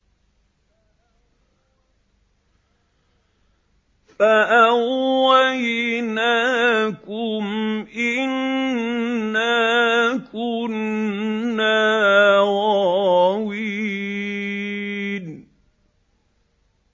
فَأَغْوَيْنَاكُمْ إِنَّا كُنَّا غَاوِينَ